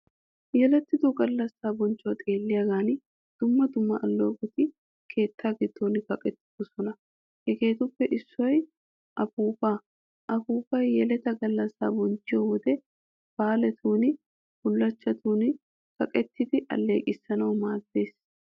Yelettido gallassaa bochchuwaa xeelliyaagan dumma dumma alleeqoti keetta giddon kaqettidosona. Hegeetuppe issoy apuupaa. Apuuppay yeleta gallassaa bonchchiyoo wode, baalatun, bullachchatun kaqqidi alleeqissanawu maaddees.